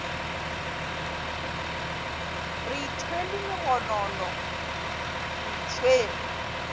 re ithwele megono re itshwere